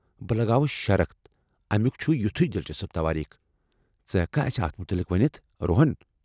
بہٕ لگاوٕ شرط امُیٚک چُھ یُتُھے دلچسپ توٲریخ ، ژٕ ہیٚککھا اسِہ اتھ مُتعلق ؤنِتھ ، روہن ؟